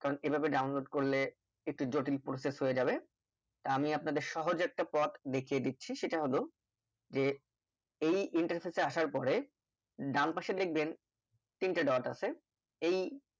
কারণ এইভাবে download করলে একটু জটিল process হয়ে যাবে তা আমি আপনাদের সহজ এ একটা পথ দেখিয়ে দিচ্ছি সেটা হলো যে এই interface এ আসার পরে ডানপাশে দেখবেন তিনটে dot আছে এই